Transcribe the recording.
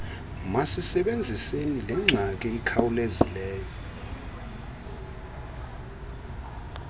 masisebenziseni lengxaki ikhawulezayo